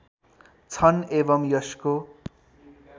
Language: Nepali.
छन् एवम् यसको